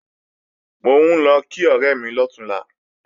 Mò ń lọ kí ọ̀rẹ́ mi lọ̀túnla